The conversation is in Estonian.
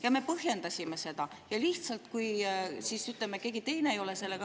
Ja me põhjendasime seda.